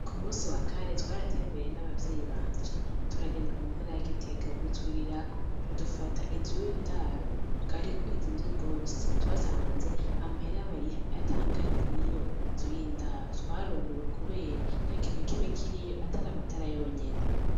Kumunsi wa kane twaratembereye n' abavyeyi banje turagenda mu ntara ya Gitega butwirirako ca dufata inzu y' indaro ariko izimvye gose twasanze amahera bariha atangana n' iyo nzu y'indaro twarumiwe kubera ntakintu nakimwe kiriyo atari amatara yonyene.